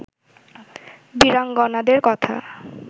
বীরাঙ্গনাদের কথা